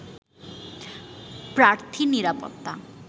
প্রার্থীর নিরাপত্তা